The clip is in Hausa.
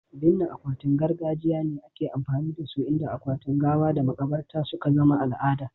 Binne gawawwakin gargajiya ne ake amfani da su, inda akwatunan gawa da makabarta suka zama al'ada.